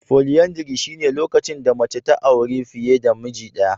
Folyandary shine lokacin da mace ta auri fiye da miji daya.